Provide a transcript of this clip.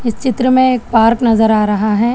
चित्र में एक पार्क नजर आ रहा है।